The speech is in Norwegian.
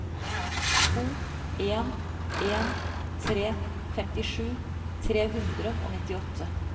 to en en tre femtisju tre hundre og nittiåtte